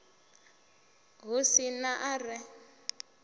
hu si na a re